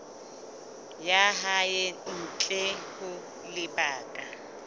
ya hae ntle ho lebaka